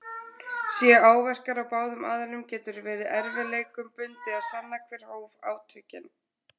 Séu áverkar á báðum aðilum getur verið erfiðleikum bundið að sanna hver hóf átökin.